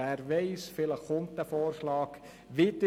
Wer weiss, vielleicht kommt dieser Vorschlag wieder.